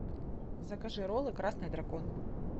закажи роллы красный дракон